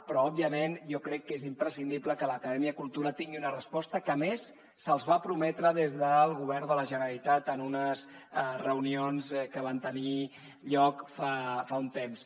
però òbviament jo crec que és imprescindible que l’acadèmia cultura tingui una resposta que a més se’ls va prometre des del govern de la generalitat en unes reunions que van tenir lloc fa un temps